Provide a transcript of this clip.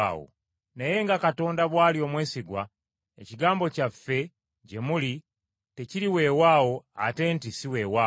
Naye nga Katonda bw’ali omwesigwa ekigambo kyaffe gye muli tekiri weewaawo ate nti si weewaawo.